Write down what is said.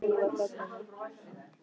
Bakkar á hundrað út á götu.